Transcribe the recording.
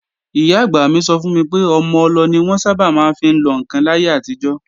Ìyá-àgbà mi sọ fún mi pé ọmọ-ọlọ ni wọ́n sábà máa ń fi lọ ǹkan láyé àtijọ́